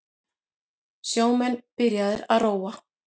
Sjómenn byrjaðir að róa